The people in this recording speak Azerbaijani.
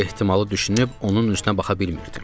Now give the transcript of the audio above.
Bu ehtimalı düşünüb onun üzünə baxa bilmirdim.